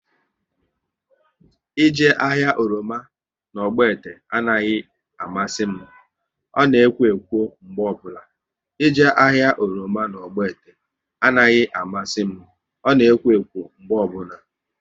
Ị jee ahịa oroma na Ogbete anaghị amasị m, ọ na ekwo ekwo mgbe ọbụla